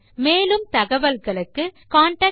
மேலும் தகவல்களுக்கு எம்மை தொடர்பு கொள்ளவும்